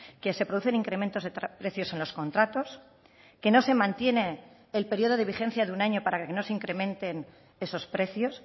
que se producen incrementos de precios en los contratos que no se mantiene el periodo de vigencia de un año para que no se incrementen esos precios